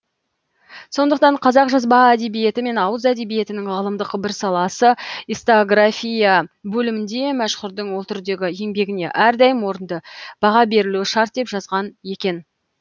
сондықтан қазақ жазба әдебиеті мен ауыз әдебиетінің ғылымдық бір саласы историография бөлімінде мәшһүрдің ол түрдегі еңбегіне әрдайым орынды баға берілуі шарт деп жазған екен